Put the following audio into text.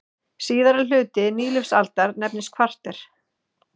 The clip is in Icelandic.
Síðari hluti nýlífsaldar nefnist kvarter.